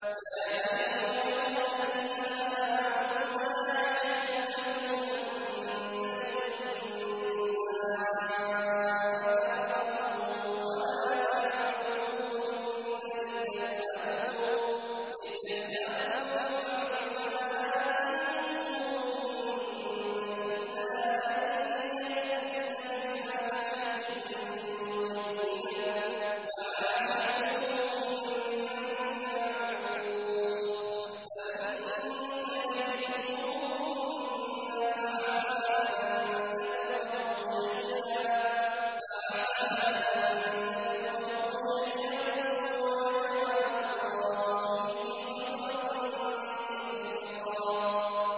يَا أَيُّهَا الَّذِينَ آمَنُوا لَا يَحِلُّ لَكُمْ أَن تَرِثُوا النِّسَاءَ كَرْهًا ۖ وَلَا تَعْضُلُوهُنَّ لِتَذْهَبُوا بِبَعْضِ مَا آتَيْتُمُوهُنَّ إِلَّا أَن يَأْتِينَ بِفَاحِشَةٍ مُّبَيِّنَةٍ ۚ وَعَاشِرُوهُنَّ بِالْمَعْرُوفِ ۚ فَإِن كَرِهْتُمُوهُنَّ فَعَسَىٰ أَن تَكْرَهُوا شَيْئًا وَيَجْعَلَ اللَّهُ فِيهِ خَيْرًا كَثِيرًا